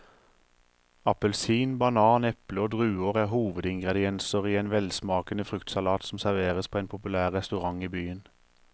Appelsin, banan, eple og druer er hovedingredienser i en velsmakende fruktsalat som serveres på en populær restaurant i byen.